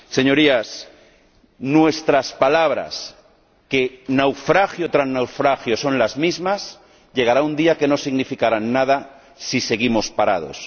Señorías, nuestras palabras, que naufragio tras naufragio son las mismas, llegará un día que no significarán nada si seguimos parados.